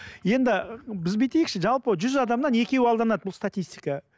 енді біз бүйтейікші жалпы жүз адамнан екеуі алданады бұл статистика